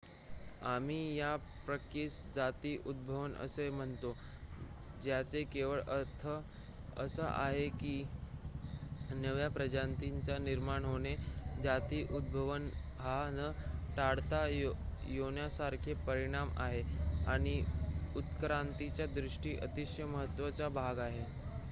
आम्ही या प्रक्रियेस जाती उद्भवन असे म्हणतो ज्याचा केवळ अर्थ असा आहे की नव्या प्रजातींचे निर्माण होणे जाती उद्भवन हा न टाळता येण्यासारखा परिणाम आहे आणि उत्क्रांतीच्या दृष्टीने अतिशय महत्वाचा भाग आहे